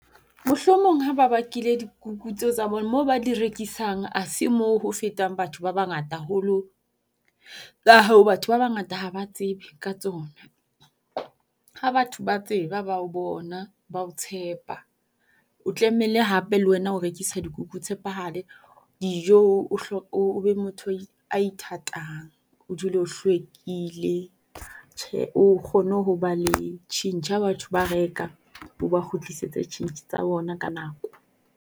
Mohlomong ha ba bakile dikuku tseo tsa bona moo ba di rekisang. A se moo ho fetang batho ba ba ngata haholo, ka hoo batho ba bangata ha ba tsebe ka tsona. Ha batho ba tseba ba o bona ba o tshepa o tlamehile hape le wena o rekisa dikuku o tshepahale, dijo o o be motho a ithatang. O dule o hlwekile tjhe o kgone ho ba le tjhentjhe. Ha batho ba reka o ba kgutlisetse tjhentjhe tsa bona ka nako.